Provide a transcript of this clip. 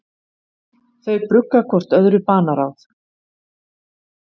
Þau brugga hvort öðru banaráð.